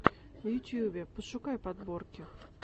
в ютьюбе пошукай подборки